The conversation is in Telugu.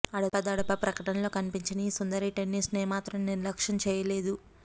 అడపాదడపా ప్రకటనల్లో కనిపించిన ఈ సుందరి టెన్నిస్ను ఏమాత్రం నిర్లక్ష్యం చేయలేదు